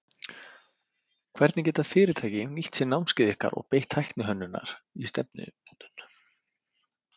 Hvernig geta fyrirtæki nýtt sér námskeið ykkar og beitt tækni hönnunar í stefnumótun?